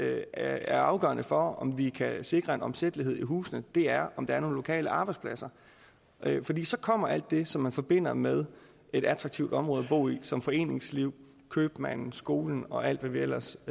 er afgørende for om vi kan sikre en omsættelighed i husene er om der er nogle lokale arbejdspladser fordi så kommer alt det som man forbinder med et attraktivt område at bo i som foreningslivet købmanden skolen og alt hvad vi ellers